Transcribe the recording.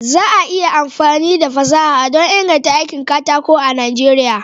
Za a yi amfani da fasaha don inganta aikin katako a Najeriya.